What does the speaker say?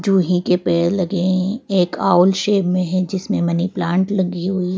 जूही के पेड़ लगे हैं एक आउल शेप में है जिसमें मनी प्लांट लगी हुई।